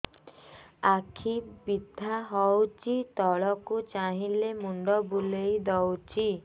ଆଖି ବିନ୍ଧା ହଉଚି ତଳକୁ ଚାହିଁଲେ ମୁଣ୍ଡ ବୁଲେଇ ଦଉଛି